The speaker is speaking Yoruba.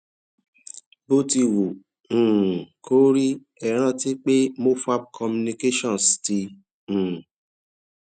bó ti wù um kó rí ẹ rántí pé mofab communications ti um